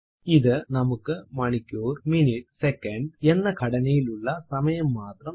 ഇത് നമുക്ക് മണിക്കൂർ മിനിറ്റ് സെക്കന്റ് hhmmഎസ്എസ്എന്ന ഘടനയിലുള്ള സമയം മാത്രം നൽകുന്നു